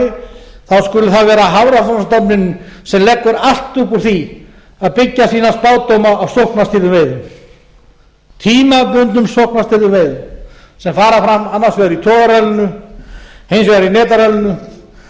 fætur annarri þá skuli það vera hafrannsóknastofnunin sem leggur allt upp úr því að byggja sína spádóma á sóknarstýrðumveiðum tímabundnum sóknarstýrðum veiðum sem fara fram annars vegar í togararallinu hins vegar í netarallinu